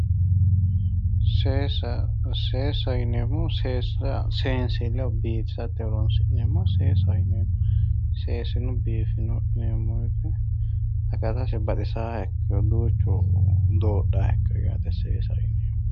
Seesa, seesaho yineemmohu seesa seensileho biinfileho horonsi'neemmoha seesaho yineemmo, seesino biifino yineemmo woyte baxisaha ikkiro duuchu dodhaha ikkiro seesaho yineemmo.